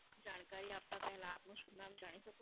જાણકારી આપતા પહેલા આપનું શુભનામ જાણી શકું?